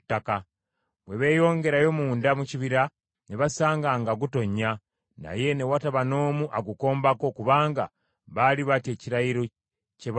Bwe beeyongerayo munda mu kibira ne basanga nga gutonnya, naye ne wataba n’omu agukombako kubanga baali batya ekirayiro kye baakola.